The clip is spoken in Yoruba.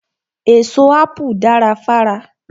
Èso Ápù dara fára.